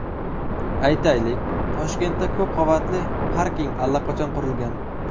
Aytaylik, Toshkentda ko‘p qavatli parking allaqachon qurilgan.